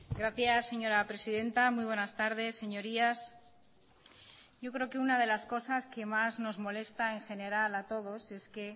gracias señora presidenta muy buenas tardes señorías yo creo que una de las cosas que más nos molesta en general a todos es que